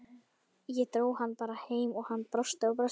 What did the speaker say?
Ég dró hann bara heim og hann brosti og brosti.